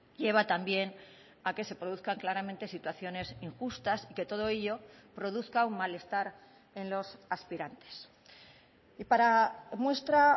lleva también a que se produzcan claramente situaciones injustas y que todo ello produzca un malestar en los aspirantes y para muestra